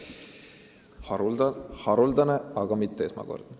See on haruldane, aga mitte esmakordne.